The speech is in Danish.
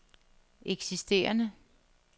eksisterende